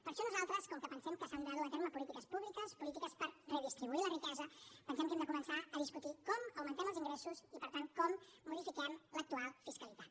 per això nosaltres com que pensem que s’han de dur a terme polítiques públiques polítiques per redistribuir la riquesa pensem que hem de començar a discutir com augmentem els ingressos i per tant com modifiquem l’actual fiscalitat